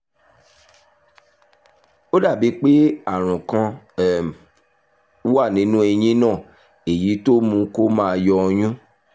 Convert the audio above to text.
ó dàbí pé àrùn kan um wà nínú eyín náà èyí tó mú kó máa yọ ọyún